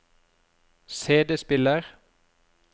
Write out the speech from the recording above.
CD-spiller